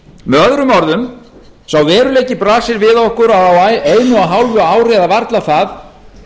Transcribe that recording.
með öðrum orðum sá veruleiki blasir við okkur að á einu og hálfu ári eða varla það